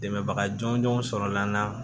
Dɛmɛbaga jɔnjɔnw sɔrɔla an na